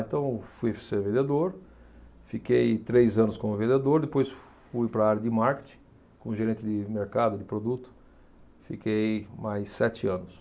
Então, fui ser vendedor, fiquei três anos como vendedor, depois fui para a área de marketing, como gerente de mercado de produto, fiquei mais sete anos.